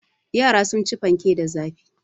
Yara sun ci fanke da zafi.